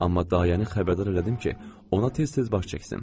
Amma dayəni xəbərdar elədim ki, ona tez-tez baş çəksin.